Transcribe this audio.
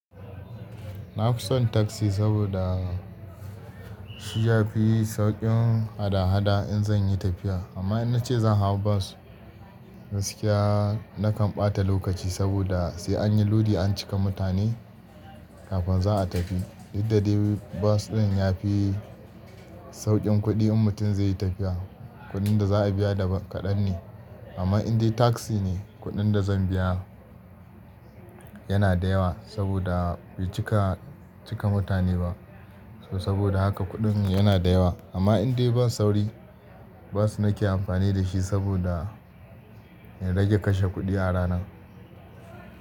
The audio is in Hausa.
Na fi son taksi saboda shi ya fi sauƙin hada-hada in zan yi tafiya. Amma in na ce zan hau bas, gaskiya na kan ɓata lokaci saboda sai an yi lodi an cika mutane kafin za a tafi. Dukda dai bas ɗin ya fi sauƙin kuɗi in mutum zai yi tafiya, kuɗin da za a biya da ba kaɗan ne. Amma in dai taksi ne, kuɗin da zan biya yana da yawa saboda bai cika cika mutane ba. To saboda haka kuɗin yana da yawa. Amma in dai bas sauri, bas nake amfani da shi saboda ya rage kashe kuɗi a rana.